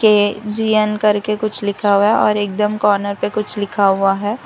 के_जी_न करके कुछ लिखा हुआ और एकदम कॉर्नर पे कुछ लिखा हुआ है।